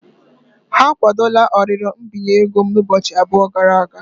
Ha akwadola arịrịọ mbinye ego m ụbọchị abụọ gara aga.